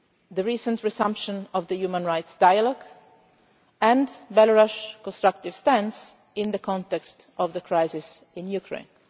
the recent resumption of the human rights dialogue and the country's constructive stance in the context of the crisis in Ukraine.